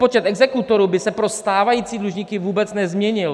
Počet exekutorů by se pro stávající dlužníky vůbec nezměnil.